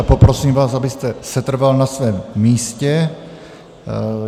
A poprosím vás, abyste setrval na svém místě.